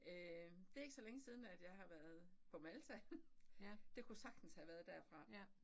Øh det ikke så længe siden at jeg har været på Malta. Det kunne sagtens have været derfra